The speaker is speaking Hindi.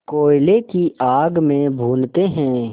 कोयले की आग में भूनते हैं